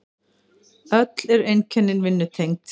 Öll eru einkennin vinnutengd.